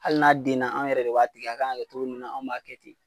Hali n'a denna an yɛrɛ de b'a tigɛ a kanka kɛ cogo min na an b'a kɛ ten